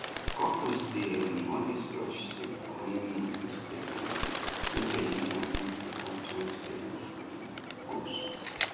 couples dey um always rush save for honeymoon instead um make dem use am build better joint savings um goals